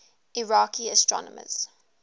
iraqi astronomers